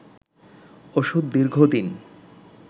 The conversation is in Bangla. ওষুধ দীর্ঘদিন